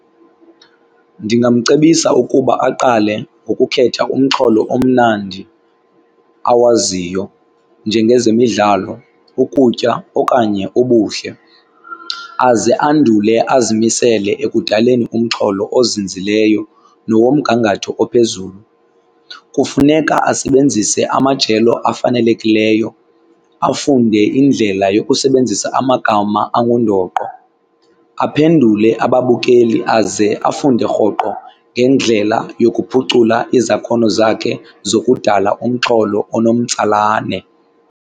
Ndingamcebisa ukuba aqale ngokukhetha umxholo omnandi awaziyo njengezemidlalo, ukutya okanye ubuhle aze andule azimisele ekudaleni umxholo ozinzileyo nowomgangatho ophezulu. Kufuneka asebenzise amajelo afanelekileyo, afunde indlela yokusebenzisa amagama angundoqo, aphendule ababukeli aze afunde rhoqo ngendlela yokuphucula izakhono zakhe zokudala umxholo onomtsalane.